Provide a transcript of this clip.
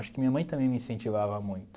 Acho que minha mãe também me incentivava muito.